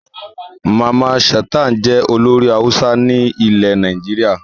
Mamman Shata jẹ́ olórin Hausa ní ile Nàìjíríà